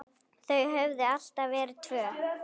Þau höfðu alltaf verið tvö.